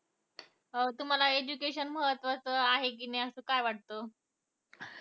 अं तुम्हाला education महत्वाचा आहे कि नाही असं काय वाटत?